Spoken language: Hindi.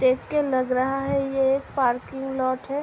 देखके लग रहा है ये एक पार्किंग लोट है।